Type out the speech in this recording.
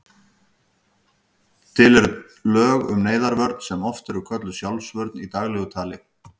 Til eru lög um neyðarvörn sem oft er kölluð sjálfsvörn í daglegu tali.